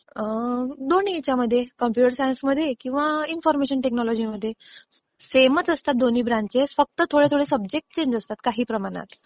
अं, दोन्ही ह्याच्यामध्ये. कॉम्प्युटर सायन्समध्ये किंवा इन्फॉर्मेशन टेक्नॉलॉजीमध्ये. सेमच असतात दोन्ही ब्रांचेस फक्त थोडे थोडे सब्जेक्ट्स चेंज असतात काही प्रमाणात.